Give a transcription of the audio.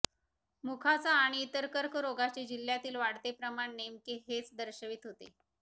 मुखाचा आणि इतर कर्करोगाचे जिल्ह्यातील वाढते प्रमाण नेमके हेच दर्शवीत होते